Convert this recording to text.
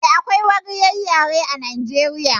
Eh, akwai wariyar yare a Nijeriya